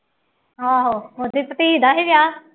ਆਹੋ ਉਹਦੇ ਭਤੀਜ ਦਾ ਸੀ ਵਿਆਹ